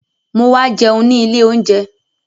Mo wá jẹun ní ilé oúnjẹ